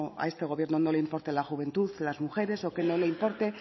a este gobierno no le importe la juventud las mujeres o que no le importe